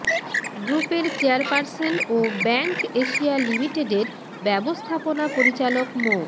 গ্রুপের চেয়ারপারসন ও bank Asia লিমিটেডের ব্যবস্থাপনা পরিচালক মো